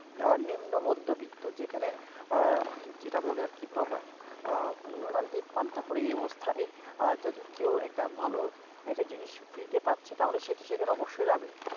আহ নিম্ন মধ্যবিত্ত যেখানে আহ যেটা বলে আর কি প্রবাদ আহ নুন আনতেই পান্তা ফুরায় এই অবস্থায় আহ যদি কেউ এটা ভালো একটা জিনিস free তে পাচ্ছে তাহলে সেতো সেখানে অবশ্যই যাবে।